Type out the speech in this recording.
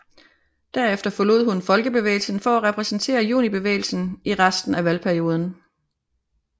Derefter forlod hun Folkebevægelsen for at repræsentere Junibevægelsen i resten af valgperioden